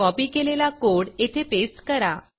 copy केलेला code येथे paste करा